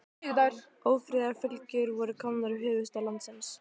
Ófriðarfylgjur voru komnar í höfuðstað landsins.